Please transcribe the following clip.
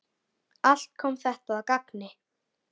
Allt kom þetta að gagni.